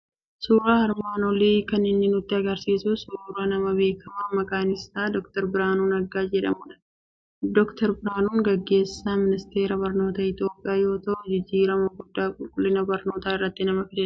Suuraan armaan olii kan inni nutti argisiisu suuraa nama beekamaa maqaan isaa Dookter Biraanuu Naggaa jedhamudha. Dookter Biraanuun gaggeessaa Ministeera Barnoota Itoophiyaa yoo ta'an, jijjiirama guddaa qulqullina barnootaa irratti nama fidedha.